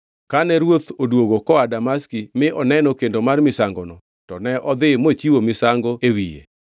Kane ruoth odwogo koa Damaski mi oneno kendo mar misangono, to ne odhi mochiwo misango e wiye.